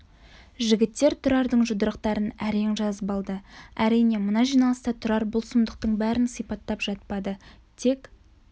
жігіттер тұрардың жұдырықтарын әрең жазып алды әрине мына жиналыста тұрар бұл сұмдықтың бәрін сипаттап жатпады тек